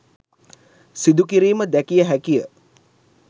සිදුකිරීම දැකිය හැකිය.